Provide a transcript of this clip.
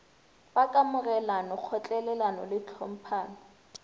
wa kamogelano kgotlelelano le tlhomphano